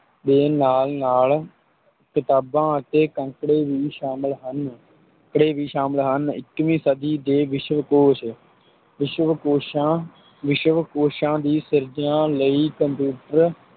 ਦੇ ਨਾਲ ਨਾਲ ਕਿਤਾਬਾਂ ਅਤੇ ਅੰਕੜੇ ਵੀ ਸ਼ਾਮਲ ਹੁੰਦੇ ਹਨ, ਅੰਕੜੇ ਵੀ ਸ਼ਾਮਲ ਹਨ, ਇੱਕੀਵੀਂ ਸਦੀ ਦੇ ਵਿਸ਼ਵਕੋਸ਼, ਵਿਸ਼ਵਕੋਸ਼ਾਂ ਵਿਸ਼ਵਕੋਸ਼ਾਂ ਦੀ ਸਿਰਜਣਾ ਲਈ computer